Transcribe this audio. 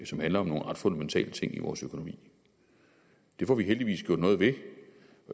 som handler om nogle ret fundamentale ting i vores økonomi det får vi heldigvis gjort noget ved